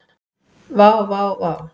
Vá vá vá.